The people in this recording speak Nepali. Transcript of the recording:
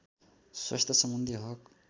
स्वास्थ्यसम्बन्धी हक